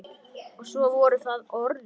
Og svo voru það orðin.